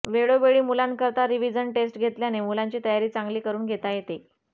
वेळोवेळी मुलांकरता revision test घेतल्याने मुलांची तयारी चांगली करून घेता येते